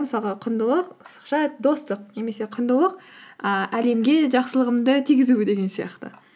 мысалға құндылық сызықша достық немесе құндылық ііі әлемге жақсылығымды тигізу деген сияқты